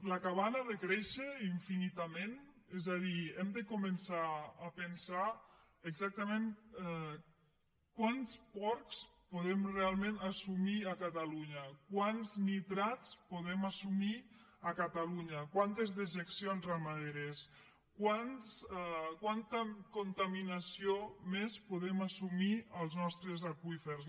la cabana ha de créixer infinitament és a dir hem de començar a pensar exactament quants porcs podem realment assumir a catalunya quants nitrats podem assumir a catalunya quantes dejeccions ramaderes quanta contaminació més podem assumir als nostres aqüífers